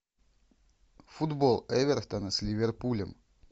футбол эвертона с ливерпулем